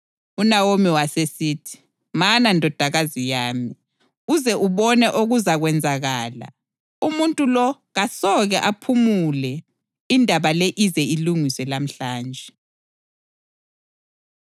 UNawomi wasesithi, “Mana ndodakazi yami, uze ubone okuzakwenzakala. Umuntu lo kasoke aphumule indaba le ize ilungiswe lamhlanje.”